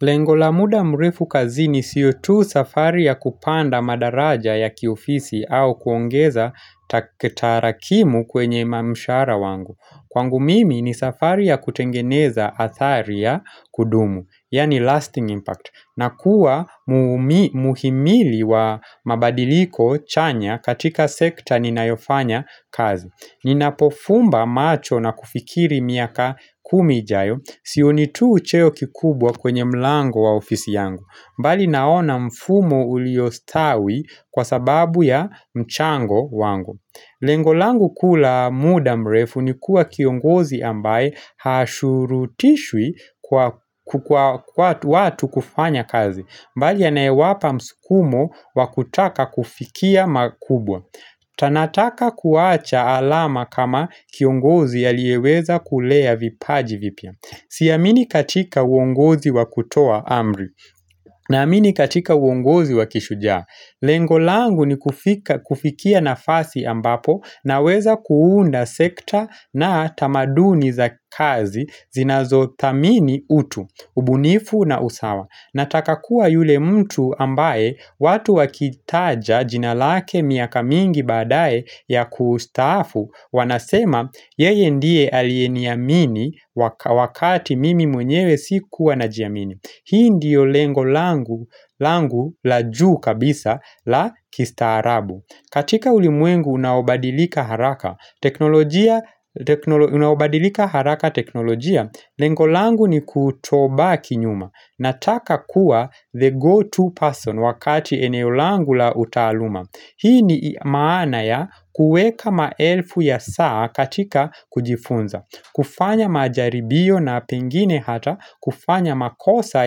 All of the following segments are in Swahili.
Lengo la muda mrefu kazini sio tu safari ya kupanda madaraja ya kiofisi au kuongeza tarakimu kwenye mshahara wangu. Kwangu mimi ni safari ya kutengeneza athari ya kudumu, yani lasting impact. Na kuwa muhimili wa mabadiliko chanya katika sekta ninayofanya kazi. Ninapofumba macho na kufikiri miaka kumi ijayo, sioni tu ucheo kikubwa kwenye mlango wa ofisi yangu mbali naona mfumo uliostawi kwa sababu ya mchango wangu Lengo langu kuu la muda mrefu ni kuwa kiongozi ambaye hashurutishwi kwa watu kufanya kazi mbali anayewapa mskumo wa kutaka kufikia makubwa Tanataka kuwacha alama kama kiongozi alieweza kulea vipaji vipya Siamini katika uongozi wakutoa amri Naamini katika uongozi wakishujaa Lengo langu ni kufika kufikia nafasi ambapo Naweza kuunda sekta na tamaduni za kazi zinazo thamini utu, ubunifu na usawa Nataka kuwa yule mtu ambaye watu wakitaja jina lake miaka mingi baadae ya kustaafu wanasema yeye ndie alieniamini wakati mimi mwenyewe sikuwa najiamini. Hii ndiyo lengo langu la juu kabisa la kistaarabu. Katika ulimwengu unaobadilika haraka teknologia haraka teknolojia, lengo langu ni kutobaki nyuma. Nataka kuwa the go-to person wakati eneo langu la utaaluma Hii ni maana ya kueka maelfu ya saa katika kujifunza kufanya majaribio na pengine hata kufanya makosa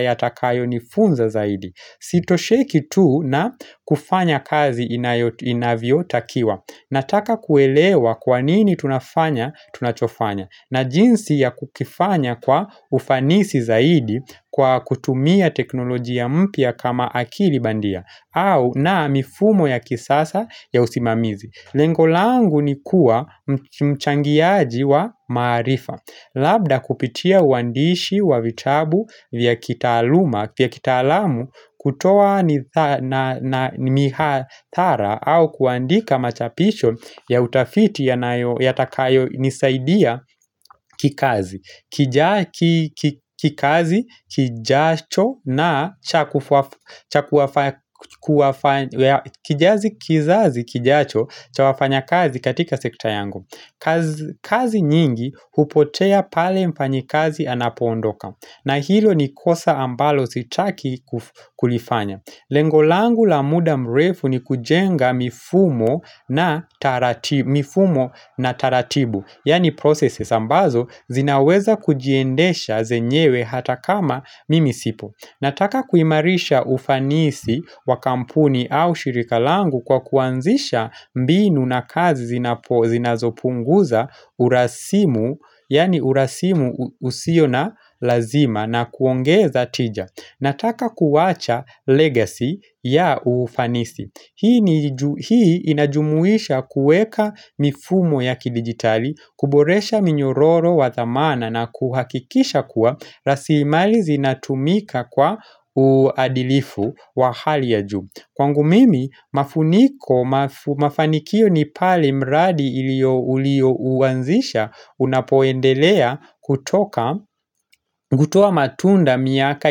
yatakayo nifunza zaidi Sitosheki tu na kufanya kazi inayo inavyo takiwa Nataka kuelewa kwanini tunafanya tunachofanya na jinsi ya kukifanya kwa ufanisi zaidi kwa kutumia teknolojia mpya kama akili bandia au na mifumo ya kisasa ya usimamizi Lengo langu ni kuwa mchangiaji wa maarifa Labda kupitia uandishi wa vitabu vya kitaaluma vya kitaalamu kutoa ni mihathara au kuandika machapisho ya utafiti yatakayo nisaidia kikazi Kijazi kizazi kijacho cha wafanyakazi katika sekta yangu kazi kazi nyingi hupotea pale mfanyikazi anapoondoka na hilo ni kosa ambalo sitaki kulifanya. Lengo langu la muda mrefu ni kujenga mifumo na taratibu. Yaani processes ambazo zinaweza kujiendesha zenyewe hata kama mimi sipo. Nataka kuimarisha ufanisi wa kampuni au shirika langu kwa kuanzisha mbinu na kazi zinazopunguza urasimu, yaani urasimu usio na lazima na kuongeza tija. Nataka kuwacha legacy ya ufanisi. Hii inajumuisha kuweka mifumo ya kidigitali, kuboresha minyororo wa thamana na kuhakikisha kuwa rasilimali zinatumika kwa uadilifu wa hali ya juu. Kwangu mimi mafuniko mafanikio ni pale mradi ilio ulio uanzisha unapoendelea kutoka ngutoa matunda miaka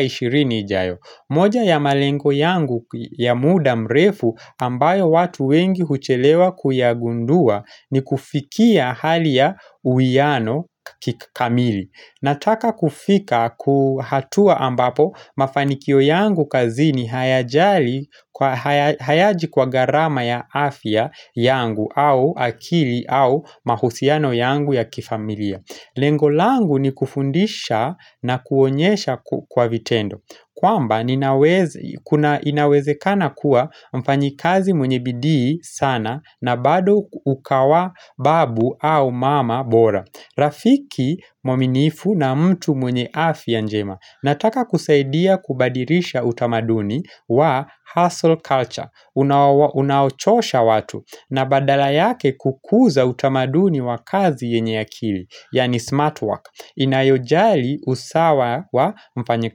ishirini ijayo moja ya malengo yangu ya muda mrefu ambayo watu wengi huchelewa kuyagundua ni kufikia hali ya uiano kikamili Nataka kufika ku hatua ambapo mafanikio yangu kazini hayajali kwa hayaji kwa garama ya afya yangu au akili au mahusiano yangu ya kifamilia Lengo langu ni kufundisha na kuonyesha kwa vitendo kwamba ninaweza inawezekana kuwa mfanyikazi mwenye bidii sana na bado ukawa babu au mama bora Rafiki mwaminifu na mtu mwenye afya njema Nataka kusaidia kubadilisha utamaduni wa hustle culture Unaochosha watu na badala yake kukuza utamaduni wa kazi yenye akili Yaani smart work Inayojali usawa wa mfanyika.